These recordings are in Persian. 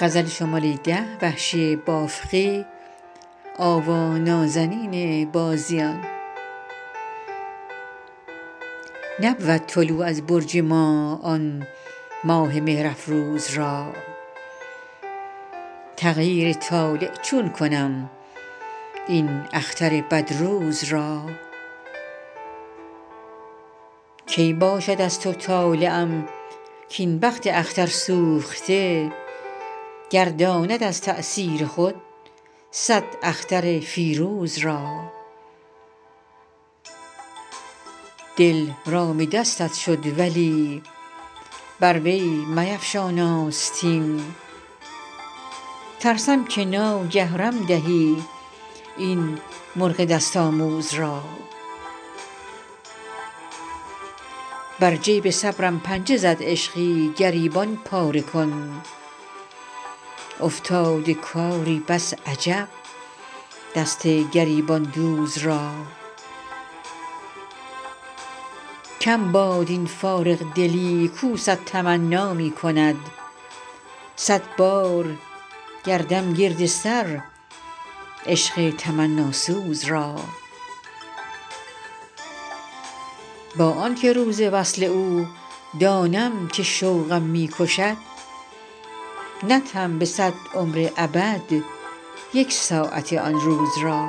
نبود طلوع از برج ما آن ماه مهر افروز را تغییر طالع چون کنم این اختر بد روز را کی باشد از تو طالعم کاین بخت اختر سوخته گرداند از تأثیر خود سد اختر فیروز را دل رام دستت شد ولی بر وی میفشان آستین ترسم که ناگه رم دهی این مرغ دست آموز را بر جیب صبرم پنجه زد عشقی گریبان پاره کن افتاده کاری بس عجب دست گریبان دوز را کم باد این فارغ دلی کو سد تمنا می کند سد بار گردم گرد سر عشق تمناسوز را با آنکه روز وصل او دانم که شوقم می کشد ندهم به سد عمر ابد یک ساعت آن روز را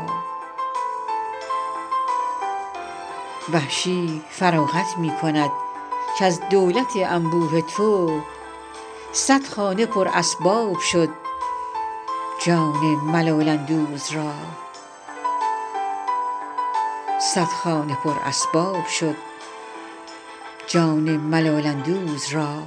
وحشی فراغت می کند کز دولت انبوه تو سد خانه پر اسباب شد جان ملال اندوز را